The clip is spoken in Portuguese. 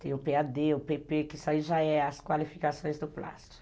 Tem o pê a dê, o pê pê, que isso aí já são as qualificações do plástico.